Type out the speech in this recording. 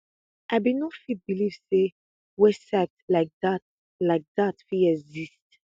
i bin no fit believe say website like dat like dat fit exist